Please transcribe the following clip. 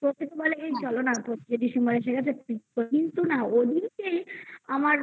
প্রত্যেকে বলে এই চলো না পচিশে December এসে গেছে কিন্তু না ওদিকে আমার